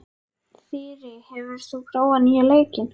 Þyri, hefur þú prófað nýja leikinn?